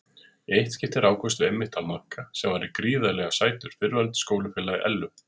Í eitt skipti rákumst við einmitt á Magga sem var gríðarlega sætur fyrrverandi skólafélagi Ellu.